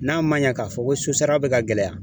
N'a ma ɲɛ k'a fɔ ko sosara bɛ ka gɛlɛya